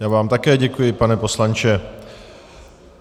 Já vám také děkuji, pane poslanče.